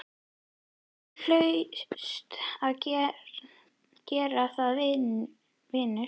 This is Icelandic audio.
Þú hlaust að gera það, vinur.